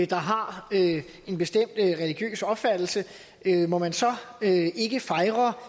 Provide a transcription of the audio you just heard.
der har en bestemt religiøs opfattelse må man så ikke fejre